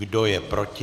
Kdo je proti?